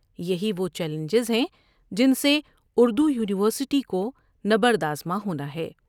یہی وہ چیلنجز ہیں جن سے اردو یونیورسٹی کو نبرد آزما ہونا ہے۔